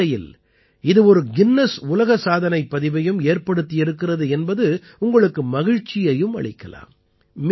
அதே வேளையில் இது ஒரு கின்னஸ் உலக சாதனைப் பதிவையும் ஏற்படுத்தியிருக்கிறது என்பது உங்களுக்கு மகிழ்ச்சியையும் அளிக்கலாம்